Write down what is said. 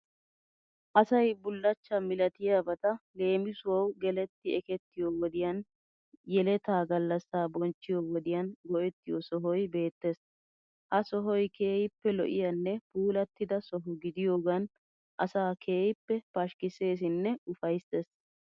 Asay bullachchaa milatiyabata leemisuwawu geletti ekettiyo wodiyan, yeletaa gallassa bonchchiyo wodiyan go'ettiyo sohoyi beettees. Ha sohoy keehippe lo'iyanne puullatida soho gidiyoogan asaa keehippe pashkkisseesinne ufayissees